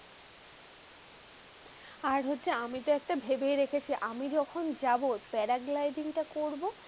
আর হচ্ছে আমি তো একটা ভেবে রেখেছি, আমি যখন যাবো paragliding টা করবো।